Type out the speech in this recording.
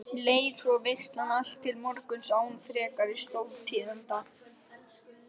Leið svo veislan allt til morguns án frekari stórtíðinda.